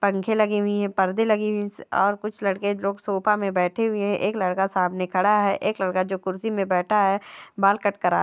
पंखे लगे हुए है परदे लगे हुए है और कुछ लड़के लोग सोफ़ा मे बैठे हुए है एक लड़का सामने खड़ा है एक लड़का जो कुर्सी मे बैठा है बाल कट करा--